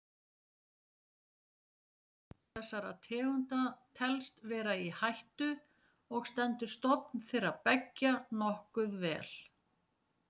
Hvorug þessara tegunda telst vera í hættu og stendur stofn þeirra beggja nokkuð vel.